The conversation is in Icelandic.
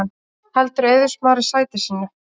Heldur Eiður Smári sæti sínu